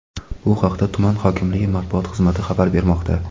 Bu haqda tuman hokimligi matbuot xizmati xabar bermoqda.